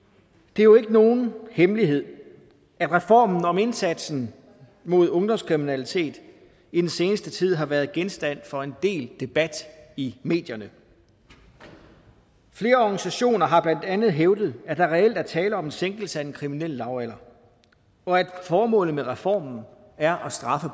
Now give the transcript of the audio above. det er jo ikke nogen hemmelighed at reformen om indsatsen mod ungdomskriminalitet i den seneste tid har været genstand for en del debat i medierne flere organisationer har blandt andet hævdet at der reelt er tale om sænkelse af den kriminelle lavalder og at formålet med reformen er at straffe